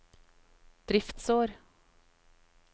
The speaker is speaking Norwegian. driftsår